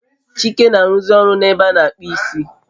Chike na aruzi oru na ebe a na akpu isi